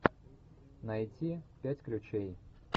найти пять ключей